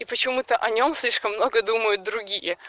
и почему-то о нем слишком много думают другие